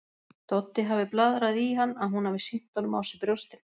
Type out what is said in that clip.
Doddi hafi blaðrað í hann að hún hafi sýnt honum á sér brjóstin.